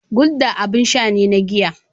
Gulder abin sha ne na giya.